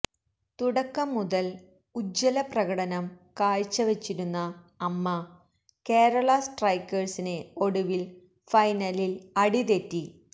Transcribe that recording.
തുടക്കം മുതൽ ഉജ്ജ്വലപ്രകടനം കാഴ്ചവച്ചിരുന്ന അമ്മ കേരള സ്ട്രൈക്കേഴ്സിന് ഒടുവിൽ ഫൈനലിൽ അടി തെറ്റി